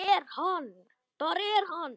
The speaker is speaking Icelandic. Það er hann.